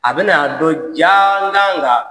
A bɛ na dɔn jaa